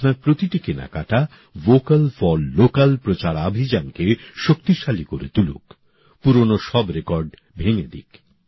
আপনার প্রতিটি কেনাকাটা ভ্যোকাল ফর ল্যোকাল প্রচারাভিযানকে শক্তিশালী করে তুলুক পুরনো সব রেকর্ড ভেঙে দিক